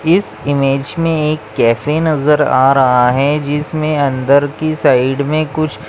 इस इमेज मे एक कैफे नजर आ रहा है जिसमे अंदर की साइड मे कुछ --